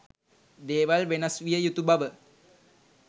දේවල් වෙනස් විය යුතු බව